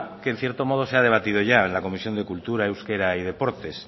que en cierto modo se ha debatido ya en la comisión de cultura euskera y deportes